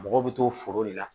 Mɔgɔw bɛ to foro de la